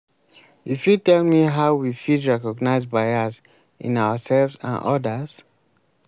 you fit tell me how we fit recognize bias in ourselves and odas?